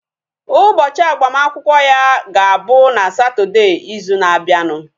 Ụbọchị agbamakwụkwọ ya ga-abụ na Satọdee izu na abianu